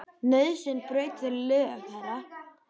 Nauðsyn braut þau lög, herra.